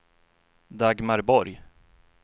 Dagmar Borg